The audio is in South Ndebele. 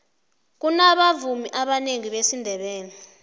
kunabavumi abanengi besindebele